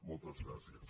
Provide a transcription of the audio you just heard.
moltes gràcies